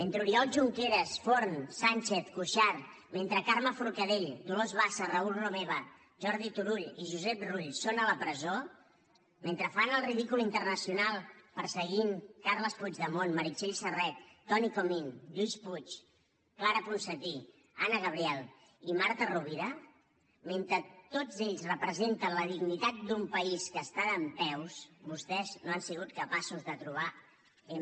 mentre oriol junqueras forn sànchez cuixart mentre carme forcadell dolors bassa raül romeva jordi turull i josep rull són a la presó mentre fan el ridícul internacional perseguint carles puigdemont meritxell serret toni comín lluís puig clara ponsatí anna gabriel i marta rovira mentre tots ells representen la dignitat d’un país que està dempeus vostès no han sigut capaços de trobar m